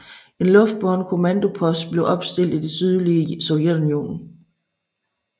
En luftbåren kommandopost blev opstillet i det sydlige Sovjetunionen